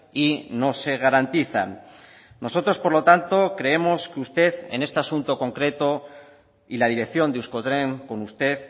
y no se garantizan nosotros por lo tanto creemos que usted en este asunto concreto y la dirección de euskotren con usted